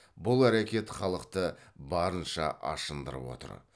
бұл әрекет халықты барынша ашындырып отыр